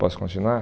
Posso continuar?